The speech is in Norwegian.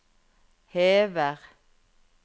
hever